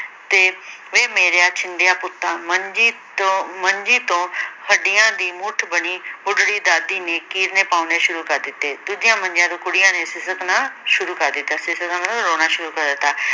ਤੇ ਵੇ ਮੇਰਿਆ ਛਿੰਦਿਆਂ ਪੁੱਤਾ ਮੰਜੀ ਤੋਂ ਮੰਜੀ ਤੋਂ ਹੱਡੀਆਂ ਦੀ ਮੁੱਠ ਬਣੀ ਬੁੱਢੜੀ ਦਾਦੀ ਨੇ ਕੀਰਨੇ ਪੌਣੇ ਸ਼ੁਰੂ ਕਰ ਦਿੱਤੇ ਦੂਜੀਆਂ ਮੰਜੀਆਂ ਤੋਂ ਕੁੜੀਆਂ ਨੇ ਸਿਸਕਣਾਂ ਸ਼ੁਰੂ ਕਰ ਦਿੱਤਾ ਸਿਸਕਣਾ ਮਤਲਬ ਰੋਣਾ ਸ਼ੁਰੂ ਕਰ ਦਿੱਤਾ।